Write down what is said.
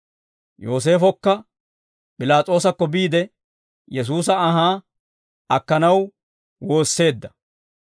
Yooseefokka P'ilaas'oosakko biide, Yesuusa anhaa akkanaw woosseedda.